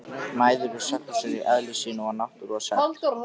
Mæður eru saklausar í eðli sínu og náttúru og sekt.